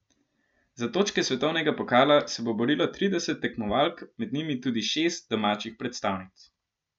Za točke svetovnega pokala se bo borilo trideset tekmovalk, med njimi tudi šest domačih predstavnic.